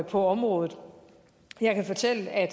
på området jeg kan fortælle at